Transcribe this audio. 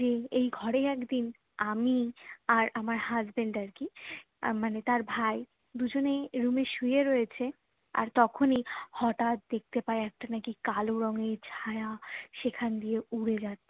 যে এই ঘরে একদিন আমি আর আমার husband আর কি মানে তার ভাই দুজনেই রুম এ শুয়ে রয়েছে আর তখনই হঠাৎ দেখতে পায়ে একটা নাকি কালো রঙের ছায়া সেখান দিয়ে উড়ে যাচ্ছে